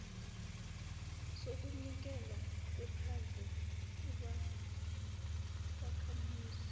sokunikelwa kwephandle ubakhamuzi